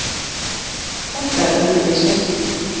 Þetta er öðruvísi